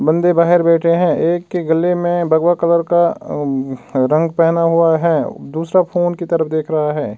बंदे बाहर बैठे हैं एक के गले मे बगबा कलर का रंग पहना हुआ है। दूसरा फोन की तरफ देख रहा है।